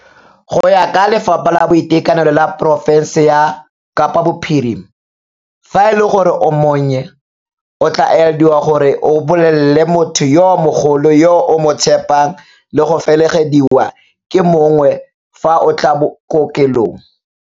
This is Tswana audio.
Go ya ka Lefapha la Boitekanelo la porofense ya Kapa Bophirima, fa e le gore o monnye o tla elediwa gore o bolelele motho yo mogolo yo o mo tshepang le go felegediwa ke mongwe fa o tla kokelong.